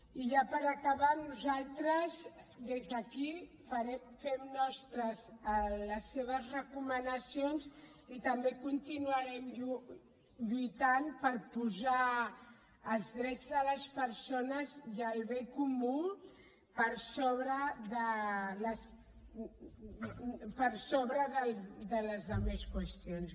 i ja per acabar nosaltres des d’aquí fem nostres les seves recomanacions i també continuarem lluitant per posar els drets de les persones i el bé comú per sobre de la resta de qües tions